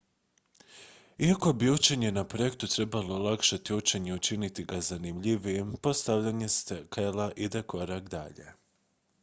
iako bi učenje na projektu trebalo olakšati učenje i učiniti ga zanimljivijim postavljanje skela ide korak dalje